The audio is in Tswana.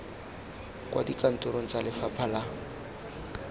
kwa dikantorong tsa lefapha la